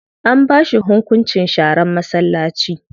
An ba shi hunkunci sharar masallaci.